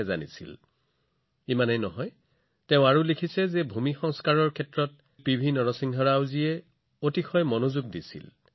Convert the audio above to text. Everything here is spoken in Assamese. কেৱল সেয়াই নহয় ভূমি সংস্কাৰৰ ক্ষেত্ৰত তেওঁ লিখিছে যে তাত মই দেখিছিলো যে শ্ৰীযুত পিভি নৰসিংহ ৰাওজীয়ে ভূমি সংস্কাৰৰ কামত আগভাগ লৈছিল